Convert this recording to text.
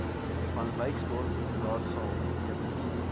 vanwyksdorp raadsaal meubels